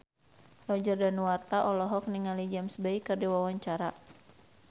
Roger Danuarta olohok ningali James Bay keur diwawancara